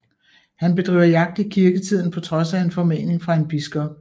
Han bedriver jagt i kirketiden på trods af en formaning fra en biskop